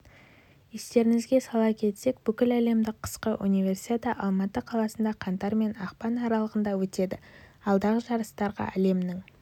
естеріңізге сала кетсек бүкіләлемдік қысқы универсиада алматы қаласында қаңтар мен ақпан аралығында өтеді алдағы жарыстарға әлемнің